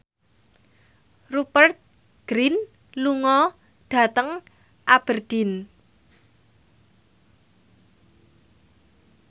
Rupert Grin lunga dhateng Aberdeen